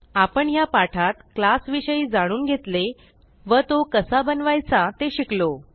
आपण ह्या पाठात क्लास विषयी जाणून घेतले व तो कसा बनवायचा ते शिकलो